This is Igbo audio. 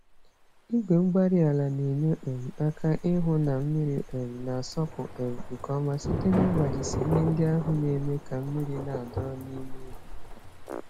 Igwe-mgbárí-ala na-enye um aka ịhụ na mmiri um nasọpụ um nke ọma site n'ịgbajisị ihe ndị ahụ némè' ka mmírí n'adọrọ n'ime ubi